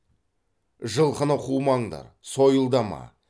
жылқыны қумаңдар сойылдама